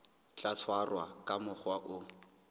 tla tshwarwa ka mokgwa o